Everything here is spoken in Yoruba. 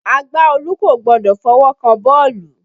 Agbaọ́ọ̀lù kò gbọdọ̀ fọwọ́ kan bọ́ọ̀lù.